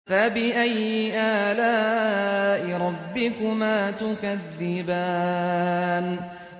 فَبِأَيِّ آلَاءِ رَبِّكُمَا تُكَذِّبَانِ